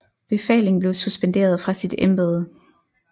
Befaling blev suspenderet fra sit Embede